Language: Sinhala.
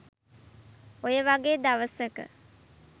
ඔයවගේ දවසක